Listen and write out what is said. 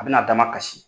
A bɛna a damakasi